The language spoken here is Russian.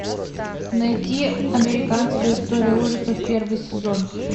найти американская история ужасов первый сезон